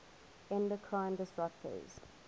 endocrine disruptors